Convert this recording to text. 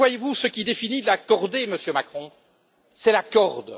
Mais, voyez vous, ce qui définit la cordée, Monsieur Macron, c'est la corde.